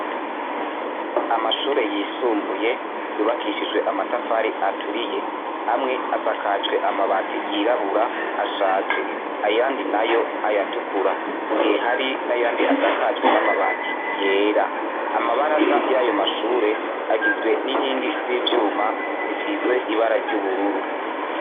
Amashure yisumbuye yubakishijwe amatafari aturiye, amwe asakajwe amabati yirabura ashaje ayandi nayo ayatukura mu gihe hari n'ayandi asakajwe n'amabati yera amabaraza y'ayo mashure agizwe n'inkingi z'ivyuma zisizwe ibara ry'ubururu.